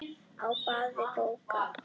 Á báða bóga.